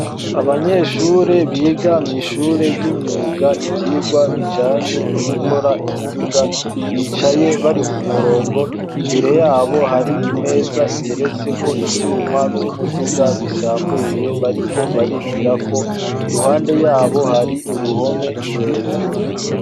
Abanyeshure bigamye ishure ry'imyuga ivyirwa bijanye no gukora imiduga bicaye bari ku murongo imbere yabo hari imeza iteretse ko ivyuma vy'umuduga bisambuye bariko barigira ko iruhande yabo hari uruhome rurerure.